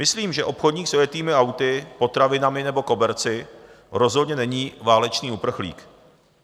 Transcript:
Myslím, že obchodník s ojetými auty, potravinami nebo koberci, rozhodně není válečný uprchlík.